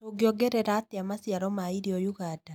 Tũngiongerera atĩa maciaro ma irio ũganda?